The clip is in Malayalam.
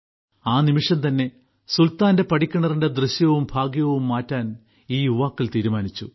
ആ നിമിഷം തന്നെ സുൽത്താന്റെ പടിക്കിണറിന്റെ ദൃശ്യവും ഭാഗ്യവും മാറ്റാൻ ഈ യുവാക്കൾ തീരുമാനിച്ചു